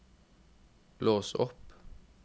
lås opp